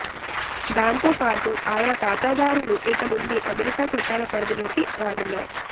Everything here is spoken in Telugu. దాంతో పాటు ఆయా ఖాతాదారులు ఇక నుండి అమెరికా చట్టాల పరిదిలోకి రానున్నాయి